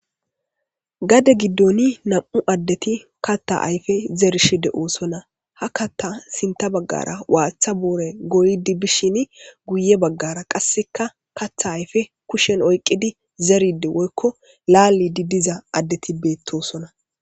Gade giidon nam'u adeti katta ayfe zarishe de7osona ha katta sinta baggara waththa booray goyidi bishin guye baggara qaseka keththa ayfe kushshen oyqqi zeridi woyko lalidi diiza adeti bettosona.